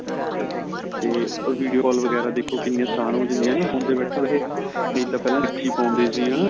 ਤਾ video call ਵਗੈਰਾ ਦੇਖੋ ਕਿੰਨੀਆਂ ਅਸਾਨ ਹੋ ਜਾਂਦੀਆਂ ਏ ਨਾ phone ਤੇ ਬੈਠੇ ਬੈਠੇ ਨਹੀ ਤਾਂ ਪਹਿਲਾਂ ਚਿੱਠੀ ਖੋਲਦੇ ਸੀ ਹਨਾ